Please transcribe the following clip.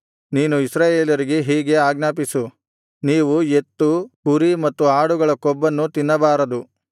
ನೀನು ಇಸ್ರಾಯೇಲರಿಗೆ ಹೀಗೆ ಆಜ್ಞಾಪಿಸು ನೀವು ಎತ್ತು ಕುರಿ ಮತ್ತು ಆಡುಗಳ ಕೊಬ್ಬನ್ನು ತಿನ್ನಬಾರದು